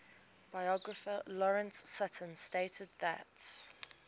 biographer lawrence sutin stated that